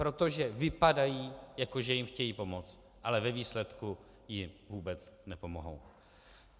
Protože vypadají, jako že jim chtějí pomoct, ale ve výsledku jim vůbec nepomohou.